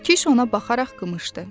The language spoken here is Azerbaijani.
Kiş ona baxaraq qımışdı.